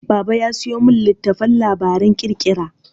Baba ya sayo min littattafan labaran ƙirƙira.